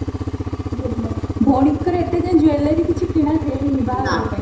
ଭଉଣୀଙ୍କର ଏତେ ଯାଏ jewelry କିଛି କିଣା ହେଇନି ବାହାଘର ପାଇଁ